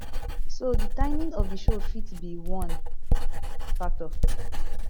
so di timing of di show fit be one factor